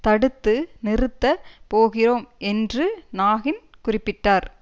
தடுத்து நிறுத்த போகிறோம் என்று நாகின் குறிப்பிட்டார்